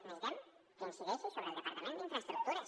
necessitem que incideixi sobre el departament d’infraestructures